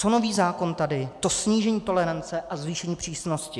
Co nový zákon tady, to snížení tolerance a zvýšení přísnosti.